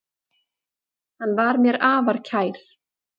Hann var mér afar kær.